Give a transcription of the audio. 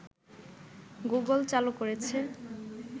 Google চালু করেছে